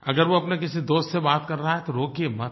अगर वो अपने किसी दोस्त से बात कर रहा है तो रोकिये मत